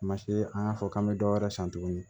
Masini an y'a fɔ k'an bɛ dɔ wɛrɛ san tuguni